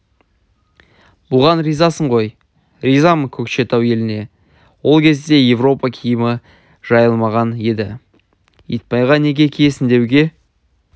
бұған ризасың ғой ризамын көкшетау еліне ол кезде европа киімі жайылмаған еді итбайға неге киесің деуге